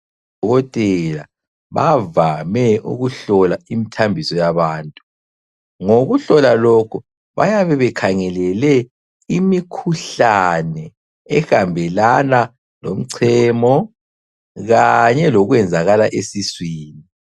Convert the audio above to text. Odokotela bavame ukuhlola imithambiso yabantu. Ngokuhlola lokhu bayabe bekhangelele imikhuhlane ehambelana lomchemo kanye lokwenzakala esiswini.